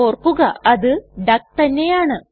ഓർക്കുക അത് ഡക്ക് തന്നെയാണ്